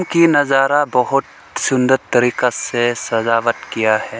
की नजारा बहोत सुंदर तरीका से सजावट किया है।